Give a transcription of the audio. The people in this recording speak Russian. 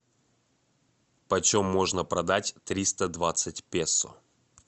почем можно продать триста двадцать песо